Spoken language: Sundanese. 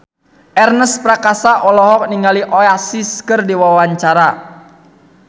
Ernest Prakasa olohok ningali Oasis keur diwawancara